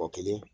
Kɔ kelen